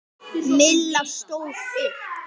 Milla stóð upp.